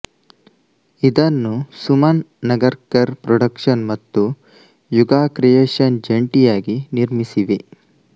ಇದನ್ನು ಸುಮನ್ ನಗರ್ಕರ್ ಪ್ರೊಡಕ್ಷನ್ಸ್ ಮತ್ತು ಯುಗಾ ಕ್ರಿಯೇಷನ್ಸ್ ಜಂಟಿಯಾಗಿ ನಿರ್ಮಿಸಿವೆ